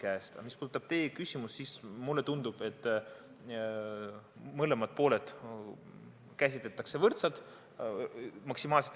Aga mis puudutab teie küsimust, siis mulle tundub, et mõlemaid pooli käsitletakse võrdselt.